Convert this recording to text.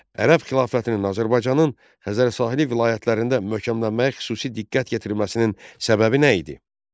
Ərəb xilafətinin Azərbaycanın Xəzər sahili vilayətlərində möhkəmlənməyə xüsusi diqqət yetirməsinin səbəbi nə idi?